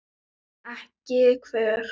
En ekki hver?